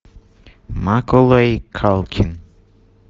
маколей калкин